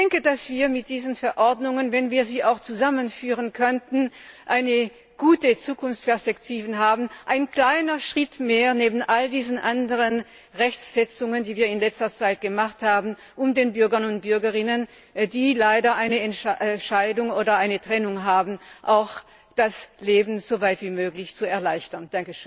Ich denke, dass wir mit diesen Verordnungen, wenn wir sie auch zusammenführen könnten, eine gute Zukunftsperspektive haben ein kleiner Schritt mehr neben all diesen anderen Rechtsetzungen, die wir in letzter Zeit gemacht haben, um den Bürgern und Bürgerinnen, die leider eine Scheidung oder eine Trennung erfahren, das Leben so weit wie möglich zu erleichtern.